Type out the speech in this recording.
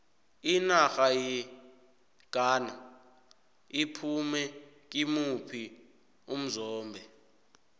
inarha yeghana iphume kimuphi umzombe